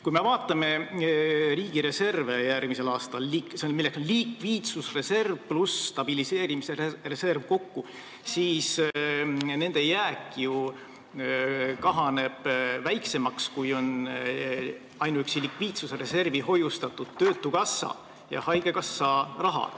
Kui me vaatame riigi järgmise aasta reserve, milleks on likviidsusreserv ja stabiliseerimise reserv kokku, siis näeme, et nende jääk kahaneb väiksemaks, kui on ainuüksi likviidsusreservi hoiustatud töötukassa ja haigekassa raha.